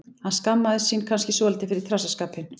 Hann skammast sín kannski svolítið fyrir trassaskapinn.